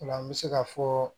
O la n bɛ se ka fɔɔ